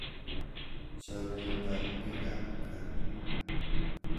Chamyetab bikab gaa.